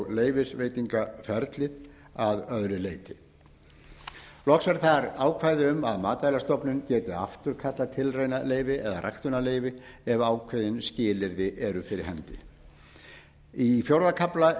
leyfisveitingaferlið að öðru leyti loks er þar ákvæði um að matvælastofnun geti afturkallað tilraunaleyfi eða ræktunarleyfi ef ákveðin skilyrði eru fyrir hendi í fjórða kafla